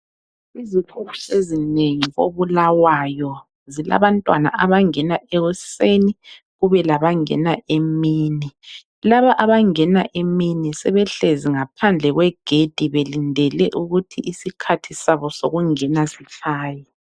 Izikolo ezinengi koBulawayo zilabantwana abangena ekuseni kube labangeni emini .Laba abangena emini sebehlezi ngaphandle kwegedi belindele ukuthi isikhathi sabo sokungena sitshaye.